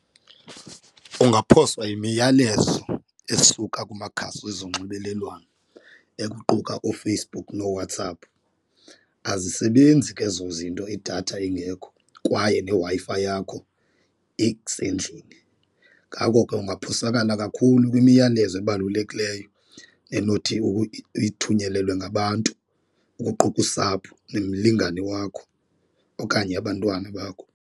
Ungaphoswa yimiyalezo esuka kumakhasi wezonxibelelwano ekuquka ooFacebook nooWhatsApp azisebenzi ke ezo zinto idatha ingekho kwaye ne-Wi-Fi yakho isendlini. Ngako ke ungaphosakala kakhulu kwimiyalezo ebalulekileyo enothi uyithunyelelwe ngabantu kuquka usapho nomlingani wakho okanye abantwana bakho.